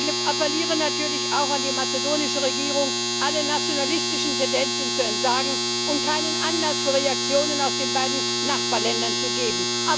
Ich appelliere natürlich auch an die mazedonische Regierung, allen nationalistischen Tendenzen zu entsagen und keinen Anlass zu Reaktionen aus den beiden Nachbarländern zu geben.